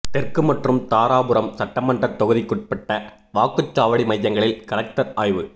தெற்கு மற்றும் தாராபுரம் சட்டமன்ற தொகுதிக்குட்பட்ட வாக்குச்சாவடி மையங்களில் கலெக்டர் ஆய்வு